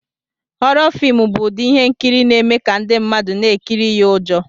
Hhoro fim bụ ụdị ihe nkiri na-eme ka ndị mmadụ na-ekiri ya ụjọ.